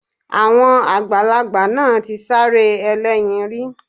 Àwọn àgbàlagbà náà ti sáré ẹlẹ́yin rí